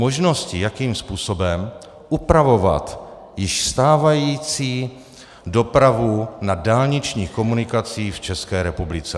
Možnosti, jakým způsobem upravovat již stávající dopravu na dálničních komunikacích v České republice.